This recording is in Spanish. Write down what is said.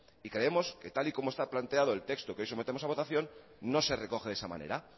y creemos que tal y como está planteado el texto que hoy sometemos a votación no se recoge de esa manera